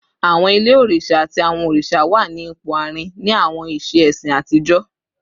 Awọn ile oriṣa ati awọn oriṣa wa ni awọn ipo aarin ni awọn iṣe ẹsin atijọ